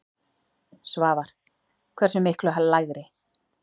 Svavar: Hversu miklu lægri?